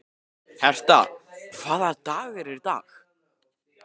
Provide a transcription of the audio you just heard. Herta, hvaða dagur er í dag?